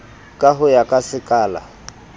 ka ho ya ka sekala